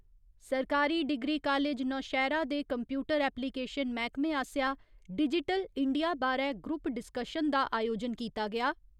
सरकारी degree college Nowshera दे computer application मैह्‌कमे आसेआ डिजिटिल इंडिया बारै ग्रुप डिसकशन दा अयोजन कीता गेआ।